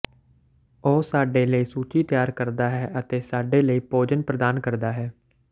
ਉਹ ਸਾਡੇ ਲਈ ਸੂਚੀ ਤਿਆਰ ਕਰਦਾ ਹੈ ਅਤੇ ਸਾਡੇ ਲਈ ਭੋਜਨ ਪ੍ਰਦਾਨ ਕਰਦਾ ਹੈ